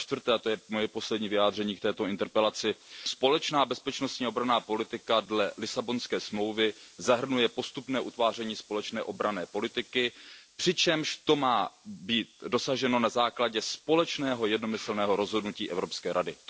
A za čtvrté, a to je moje poslední vyjádření k této interpelaci, společná bezpečnostní a obranná politika dle Lisabonské smlouvy zahrnuje postupné utváření společné obranné politiky, přičemž to má být dosaženo na základě společného jednomyslného rozhodnutí Evropské rady.